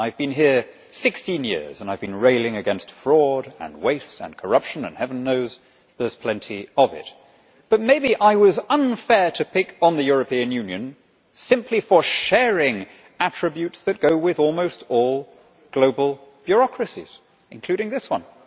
I have been here for16 years and I have been railing against fraud, waste and corruption and heaven knows, there is plenty of it but maybe I was unfair to pick on the European Union simply for sharing attributes that go with almost all global bureaucracies, including this one.